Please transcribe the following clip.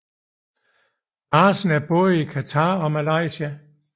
Larsen i både Qatar og Malaysia